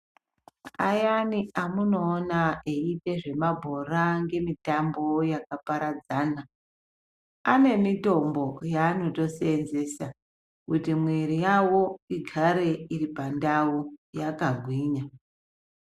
Ayani amunoona eiite zvemabhora ngemitambo yakaparadzana, ane mitombo ,yeanotoseenzesa, kuti mwiri yavo igare iri pandau, yakagwinya.